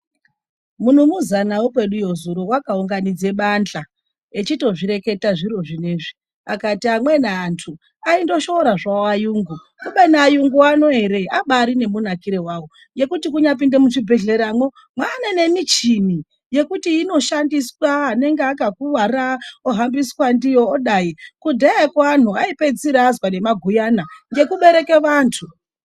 Munumuzana wekweduyo zuro akaunganidza bandla echitozvireketa zviro zvinezvi, akati amweni andu aingoshora zvavo varungu. Kubeni, varungu vano ere, vane munakiro wawo wekuti kunyapinda muchibhedhlera mane nemichini yekuti inoshandiswa kuti anenge akakuvara ohombambiswa ndiyo. Kudhayako vantu vaizwa nemaguyana ngekubereke antu.